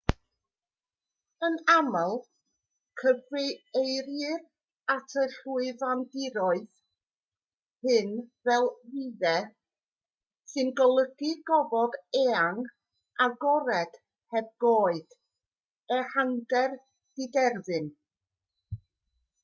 yn aml cyfeirir at y llwyfandiroedd hyn fel vidde sy'n golygu gofod eang agored heb goed ehangder diderfyn